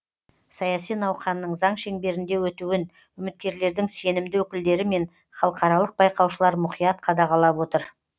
саяси науқанның заң шеңберінде өтуін үміткерлердің сенімді өкілдері мен халықаралық байқаушылар мұқият қадағалап отыр